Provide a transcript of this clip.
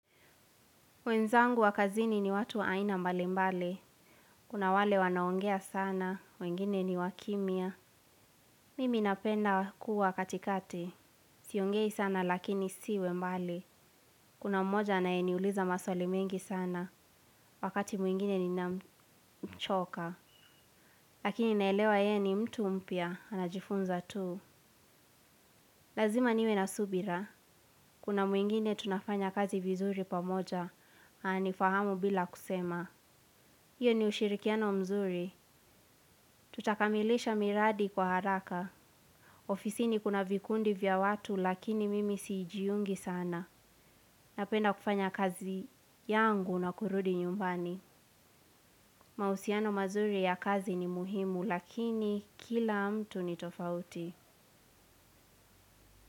Wenzangu wa kazini ni watu wa aina mbali mbali, kuna wale wanaongea sana, wengine ni wakimia, mimi napenda kuwa katikati, siongei sana lakini siwe mbali, kuna mmoja aneaniuliza maswali mingi sana, wakati mwingine ni namchoka, lakini naelewa ye ni mtu mpya, anajifunza tuu. Lazima niwe na subira. Kuna muingine tunafanya kazi vizuri pamoja. Anifahamu bila kusema. Iyo ni ushirikiano mzuri. Tutakamilisha miradi kwa haraka. Ofisini kuna vikundi vya watu lakini mimi siijiungi sana. Napenda kufanya kazi yangu na kurudi nyumbani. Mausiano mazuri ya kazi ni muhimu lakini kila mtu ni tofauti.